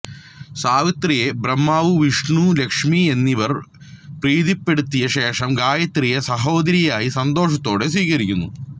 സാവിത്രിയെ ബ്രഹ്മാവ് വിഷ്ണു ലക്ഷ്മി എന്നിവർ പ്രീതിപ്പെടുത്തിയ ശേഷം ഗായത്രിയെ സഹോദരിയായി സന്തോഷത്തോടെ സ്വീകരിക്കുന്നു